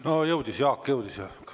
No jõudis, Jaak jõudis.